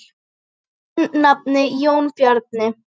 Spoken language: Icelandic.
Þinn nafni, Jón Bjarni.